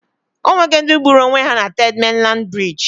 Onwe go ndi gburu onwe ha na Third Mainland Bridge